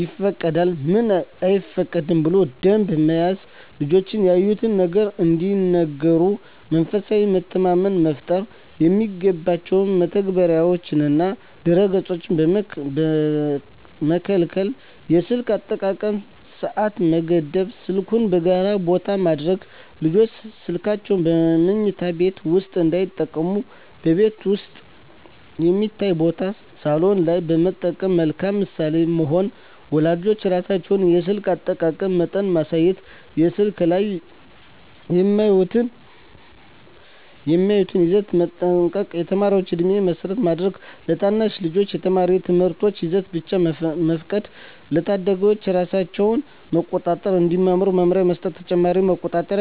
ይፈቀዳል፣ ምን አይፈቀድም ብሎ ደንብ መያዝ ልጆች ያዩትን ነገር እንዲነግሩ መንፈሳዊ መተማመን መፍጠር የማይገባ መተግበሪያዎችንና ድረ-ገፆችን መከልከል የስልክ አጠቃቀም ሰዓት መገደብ ስልኩን በጋራ ቦታ ማድረግ ልጆች ስልካቸውን በመኝታ ቤት ውስጥ እንዳይጠቀሙ በቤት ውስጥ የሚታይ ቦታ (ሳሎን) ላይ መጠቀም መልካም ምሳሌ መሆን ወላጆች ራሳቸው የስልክ አጠቃቀም መጠን ማሳየት በስልክ ላይ የሚያዩትን ይዘት መጠንቀቅ የተማሪ ዕድሜን መሰረት ማድረግ ለታናሽ ልጆች የተማሪ ትምህርታዊ ይዘት ብቻ መፍቀድ ለታዳጊዎች ራሳቸውን መቆጣጠር እንዲማሩ መመሪያ መስጠት ተጨማሪ መቆጣጠሪያ መተግበሪያዎች